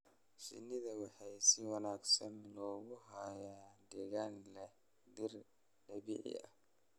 Shinnida waxaa si wanaagsan loogu hayaa deegaan leh dhir dabiici ah.